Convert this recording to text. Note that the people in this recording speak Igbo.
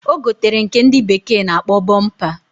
Ogotere nke ndi bekee na akpo bumper.